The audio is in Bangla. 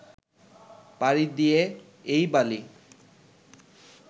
পাড়ি দিয়ে এই বালি